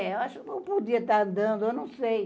É, acho que eu podia estar andando, não sei.